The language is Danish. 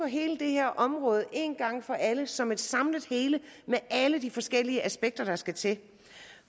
hele det her område en gang for alle som et samlet hele med alle de forskellige aspekter der skal til